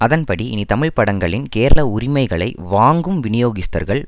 அதன்படி இனி தமிழ்படங்களின் கேரள உரிமைகளை வாங்கும் விநியோகஸ்தர்கள்